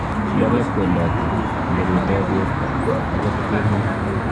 Bolee kwendotet, ngorutoo beet agot keemo.